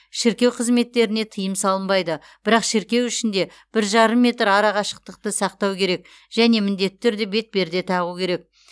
шіркеу қызметтеріне тыйым салынбайды бірақ шіркеу ішінде бір жарым метр арақашықтықты сақтау керек және міндетті түрде бетперде тағу керек